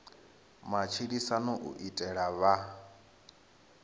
matshilisano u itela u vha